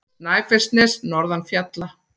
Snæfellsnes norðan fjalla.